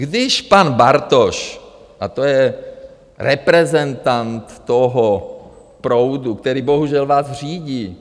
Když pan Bartoš - a to je reprezentant toho proudu, který bohužel vás řídí.